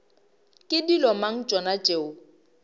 ke dilo mang tšona tšeo